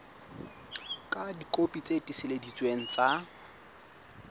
ka dikopi tse tiiseleditsweng tsa